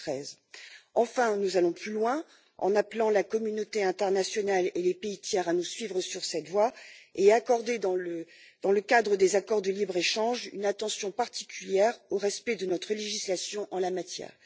2013. Enfin, nous allons plus loin en appelant la communauté internationale et les pays tiers à nous suivre sur cette voie et à accorder, dans le cadre des accords de libre échange, une attention particulière au respect de notre législation en la matière.